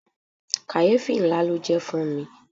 Kàyéfì ńlá ló jẹ́ fún ri.